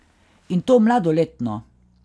In to mladoletno.